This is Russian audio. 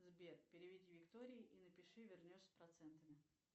сбер переведи виктории и напиши вернешь с процентами